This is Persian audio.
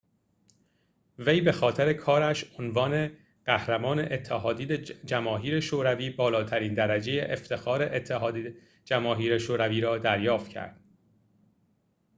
وی بخاطر کارش عنوان قهرمان اتحاد جماهیر شوروی بالاترین درجه افتخار اتحاد جماهیر شوروی را دریافت کرد